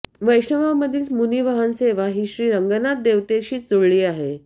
वैष्णवांमधील मुनी वाहन सेवा ही श्री रंगनाथ देवतेशीच जुळली आहे